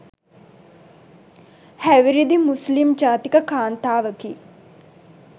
හැවිරිදි මුස්ලිම් ජාතික කාන්තාවකි